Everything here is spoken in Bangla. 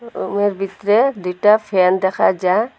রুমের ভিতরে দুইটা ফ্যান দেখা যা--